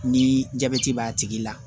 Ni jabɛti b'a tigi la